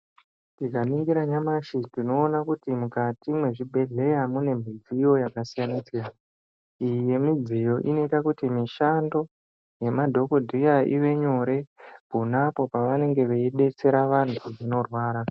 Tikaningira nyamashi tinoona kuti mukati mwezvibhehleya mune mudziyo yakasiyana siyana. Imwe yemidziyo inoita kuti mishando yemadhokodheya ive nyore ponapo pavanenge veidetsera vantu zvinorwara.